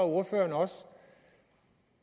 at ordføreren også